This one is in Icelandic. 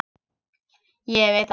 Ég veit það